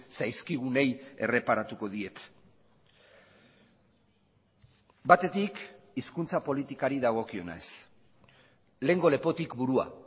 zaizkigunei erreparatuko diet batetik hizkuntza politikari dagokionez lehengo lepotik burua